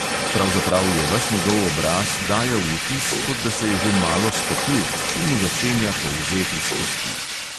Pravzaprav je ves njegov obraz dajal vtis, kot da se je že malo stopil in mu začenja polzeti s kosti.